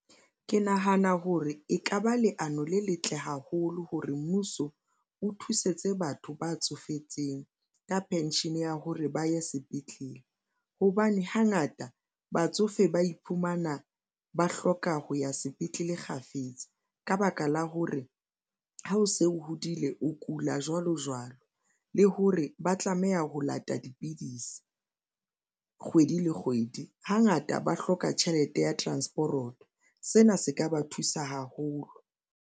Ke nahana hore ekaba leano le letle haholo hore mmuso o thusetse batho ba tsofetseng ka pension ya hore ba ye sepetlele hobane hangata batsofe ba iphumana ba hloka ho ya sepetlele kgafetsa. Ka baka la hore ha o se o hodile, o kula jwalo jwalo le hore ba tlameha ho lata dipidisi kgwedi le kgwedi, hangata ba hloka tjhelete ya transporoto sena se ka ba thusa haholo.